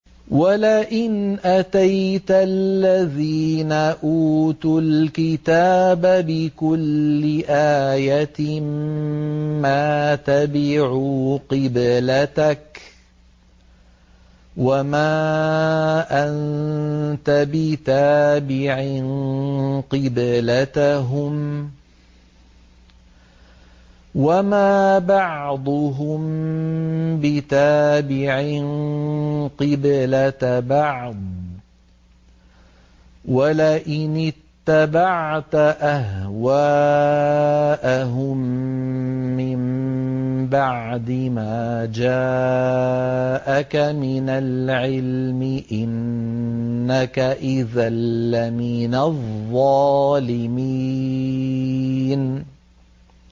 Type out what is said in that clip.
وَلَئِنْ أَتَيْتَ الَّذِينَ أُوتُوا الْكِتَابَ بِكُلِّ آيَةٍ مَّا تَبِعُوا قِبْلَتَكَ ۚ وَمَا أَنتَ بِتَابِعٍ قِبْلَتَهُمْ ۚ وَمَا بَعْضُهُم بِتَابِعٍ قِبْلَةَ بَعْضٍ ۚ وَلَئِنِ اتَّبَعْتَ أَهْوَاءَهُم مِّن بَعْدِ مَا جَاءَكَ مِنَ الْعِلْمِ ۙ إِنَّكَ إِذًا لَّمِنَ الظَّالِمِينَ